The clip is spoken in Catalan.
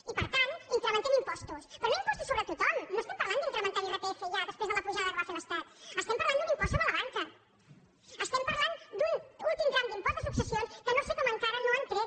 i per tant incrementem impostos però no impostos sobre tothom no estem parlant d’incrementar l’irpf ja després de la pujada que va fer l’estat estem parlant d’un impost sobre la banca estem parlant d’un últim tram d’impost de successions que no sé com encara no han tret